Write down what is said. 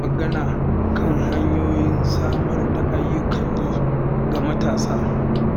Za mu yi magana kan hanyoyin samar da ayyukan yi ga matasa.